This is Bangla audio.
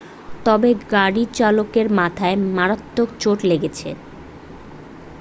তবে গাড়ির চালকের মাথায় মারাত্মক চোট লেগেছে